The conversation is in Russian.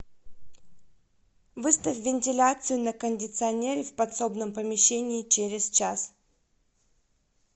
выставь вентиляцию на кондиционере в подсобном помещении через час